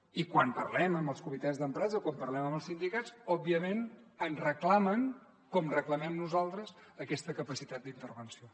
i quan parlem amb els comitès d’empresa quan parlem amb els sindicats òbviament en reclamen com reclamem nosaltres aquesta capacitat d’intervenció